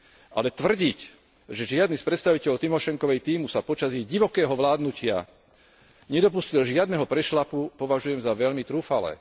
Ale tvrdiť, že žiadny z predstaviteľov Tymošenkovej tímu sa počas ich divokého vládnutia nedopustil žiadneho prešľapu, považujem za veľmi trúfalé.